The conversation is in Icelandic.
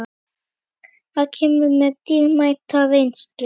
Þeir kæmu með dýrmæta reynslu